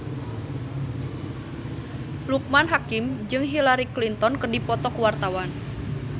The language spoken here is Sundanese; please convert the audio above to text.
Loekman Hakim jeung Hillary Clinton keur dipoto ku wartawan